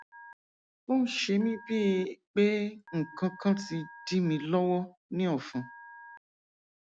ó ń ṣe mí bíi pé nǹkan kan ti dí mi lọwọ ní ọfun